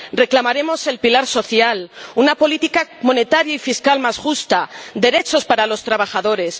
reclamaremos el pilar social, una política monetaria y fiscal más justa, derechos para los trabajadores.